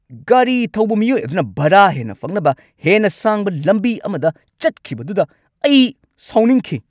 ꯒꯥꯔꯤ ꯊꯧꯕ ꯃꯤꯑꯣꯏ ꯑꯗꯨꯅ ꯚꯔꯥ ꯍꯦꯟꯅ ꯐꯪꯅꯕ ꯍꯦꯟꯅ ꯁꯥꯡꯕ ꯂꯝꯕꯤ ꯑꯃꯗ ꯆꯠꯈꯤꯕꯗꯨꯗ ꯑꯩ ꯁꯥꯎꯅꯤꯡꯈꯤ꯫